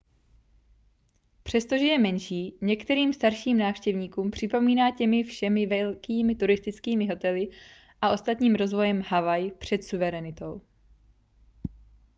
přestože je menší některým starším návštěvníkům připomíná těmi všemi velkými turistickými hotely a ostatním rozvojem havaj před suverenitou